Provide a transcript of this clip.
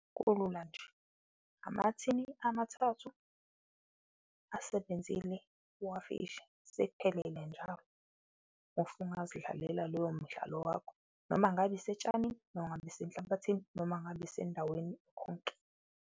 Kulula nje amathini amathathu asebenzile wafishi, sekuphelele njalo usungazidlalela loyo mdlalo wakho, noma ngabe isetshanini, noma ngabe isenhlabathini, noma ngabe isendaweni konke.